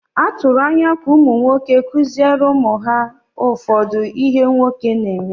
Atụrụ anya ka ụmụ nwoke kụziere ụmụ ha ụfọdụ ihe “nwoke” na-eme.